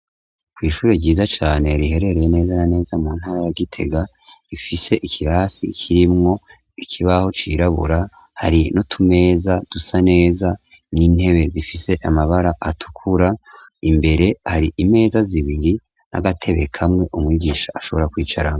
Kw'ishure ryiza cane riherereye neza na neza mu ntara ya Gitega, rifise ikirasi kirimwo ikibaho cirabura, hari n'utumeza dusa neza n'intebe zifise amabara atukura, imbere hari imeza zibiri n'agatebe kamwe, umwigisha ashobora kwicarako.